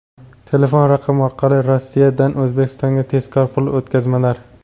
Telefon raqam orqali Rossiyadan O‘zbekistonga tezkor pul o‘tkazmalar!.